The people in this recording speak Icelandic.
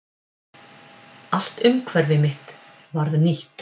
Alt umhverfi mitt varð nýtt.